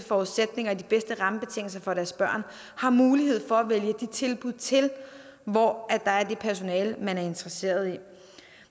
forudsætninger og de bedste rammebetingelser for deres børn har mulighed for at vælge de tilbud til hvor der er det personale man er interesseret i